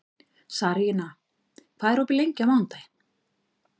Sarína, hvað er opið lengi á mánudaginn?